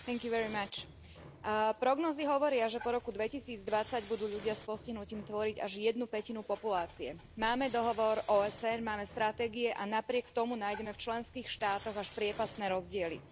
Vážený pán predsedajúci, prognózy hovoria, že po roku 2020 budú ľudia s postihnutím tvoriť až jednu pätinu populácie. Máme dohovor OSN, máme stratégie a napriek tomu nájdeme v členských štátoch až priepastné rozdiely.